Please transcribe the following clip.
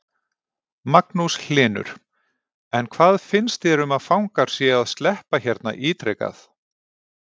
Magnús Hlynur: En hvað finnst þér um að fangar séu að sleppa hérna ítrekað?